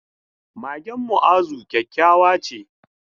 Magen Mu'azu kyakkyawa ce.